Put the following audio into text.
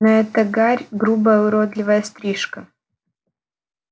но эта гарь грубая уродливая стрижка